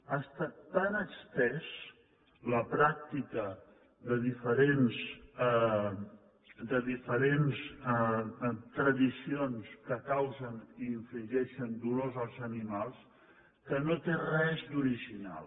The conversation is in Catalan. ha estat tan estesa la pràctica de diferents tradicions que causen i infligeixen dolor als animals que no té res d’original